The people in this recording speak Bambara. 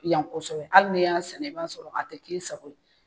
Yan kɔsɛbɛ hali n'y'a sɛnɛ i ba sɔrɔ a tɛ kɛ i sago ye.